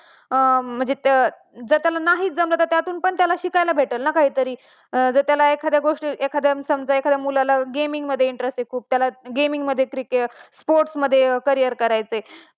म्हणजे त्यांना हे जमत नसेल तर त्याला आपण हे शिकवलं पाहिजे ना काहीतरी, जर त्याला एखाद्या, समजा एखाद्याला game मध्ये interest आहे तर त्याला gaming मध्ये sport मध्ये career करायचय